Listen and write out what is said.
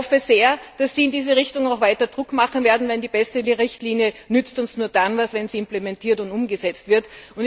Ich hoffe sehr, dass Sie in diese Richtung auch weiter Druck machen werden, denn die beste Richtlinie nützt uns nur dann etwas, wenn sie implementiert und umgesetzt wird.